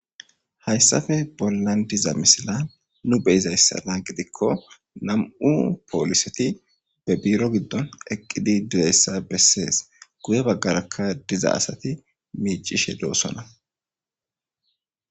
Hayssafe bollan diza misila nu be iza yssana gidikko nam7u pooliseti be biiro giddon eqqidi direyssa bessees guye baggarakka diza asati miicishe doosona.